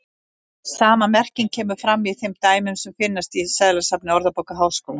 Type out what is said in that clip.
Sama merking kemur fram í þeim dæmum sem finnast í seðlasafni Orðabókar Háskólans.